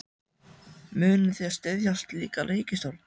Munið þið styðja slíka ríkisstjórn?